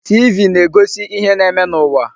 TV na-egosi ihe na-eme n'ụwa.